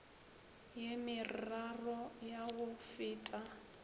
ye meraro ya go feta